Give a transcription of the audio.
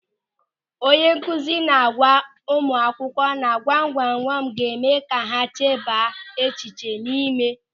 Onye nkụzi na-agwa ụmụakwụkwọ na gwamgwamgwam ga-eme ka ha chebaa echiche ịme.